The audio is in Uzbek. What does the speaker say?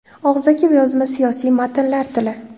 Og‘zaki va yozma siyosiy matnlar tili.